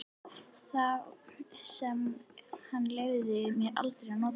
Þá sem hann leyfði mér aldrei að nota.